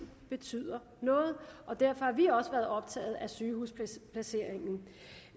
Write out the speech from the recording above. betyder noget og derfor har vi også været optaget af sygehusplaceringen